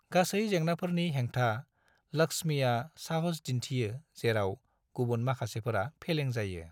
गासै जेंनाफोरनि हेंथा, लक्ष्मीया साहस दिन्थियो जेराव गुबुन माखासेफोरा फेलें जायो।